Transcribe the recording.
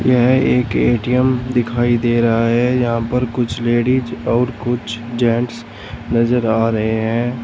यह एक ए_टी_एम दिखाई दे रहा है यहां पर कुछ लेडिस और कुछ जेंट्स नजर आ रहे हैं।